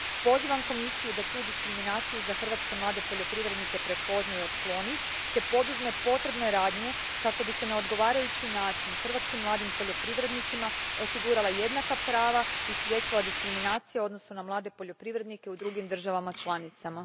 Pozivam Komisiju da tu diskriminaciju hrvatskih mladih poljoprivrednika prepozna i otkloni te poduzme potrebne radnje kako bi se na odgovarajući način hrvatskim mladim poljoprivrednicima osigurala jednaka prava i spriječila diskriminacija u odnosu na mlade poljoprivrednike u drugim državama članicama.